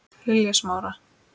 Lilja Smára.